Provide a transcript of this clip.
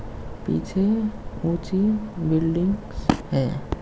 पीछे ऊंची बिल्डिंग्स है।